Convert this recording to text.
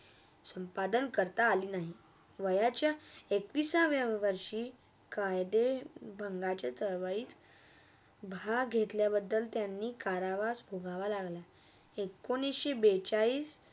संपाधन करता आली नाही वयाच्या एकवीसव्या वयावर्षी कायदे बघणाचा चळवळीत स्वय भाग घेतल्याबधल त्यांना करावा सोडावा लागला. एकोणीस बेचाळीस